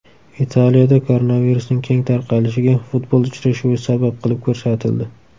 Italiyada koronavirusning keng tarqalishiga futbol uchrashuvi sabab qilib ko‘rsatildi.